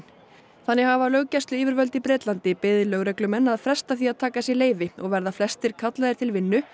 þannig hafa löggæsluyfirvöld í Bretlandi beðið lögreglumenn að fresta því að taka leyfi og verða flestir kallaðir til vinnu